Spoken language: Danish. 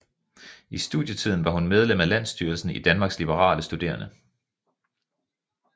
I studietiden var hun medlem af landsstyrelsen i Danmarks Liberale Studerende